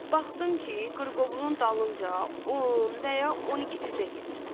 Baxdım ki, qırqovulun dalınca, on və ya 12 cücə gedir.